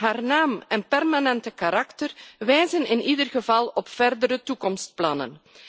Haar naam en permanente karakter wijzen in ieder geval op verdere toekomstplannen.